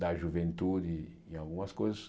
da juventude em algumas coisas.